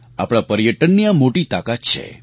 આપણા પર્યટનની આ મોટી તાકાત છે